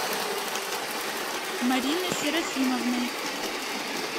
мариной серафимовной